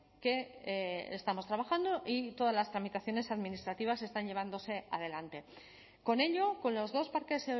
que estamos trabajando y todas las tramitaciones administrativas están llevándose adelante con ello con los dos parques